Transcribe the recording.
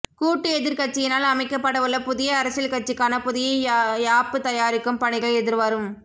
கூட்டு எதிர்க் கட்சியினால் அமைக்கப்படவுள்ள புதிய அரசியல் கட்சிக்கான புதிய யாப்பு தயாரிக்கும் பணிகள் எதிர்வரும்